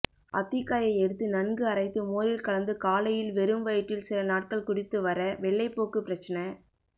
அத்திக்காயை எடுத்து நன்கு அரைத்து மோரில் கலந்து காலையில் வெறும் வயிற்றில் சில நாட்கள் குடித்துவர வெள்ளைப்போக்கு பிரச்னை